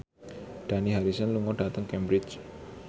Dani Harrison lunga dhateng Cambridge